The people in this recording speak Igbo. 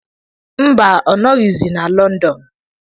Mba, ọ nọghịzi na London.